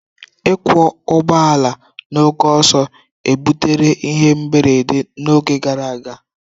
Ịkwọ ụgbọ ala na oke ọsọ ebutere ihe mberede n'oge gara aga.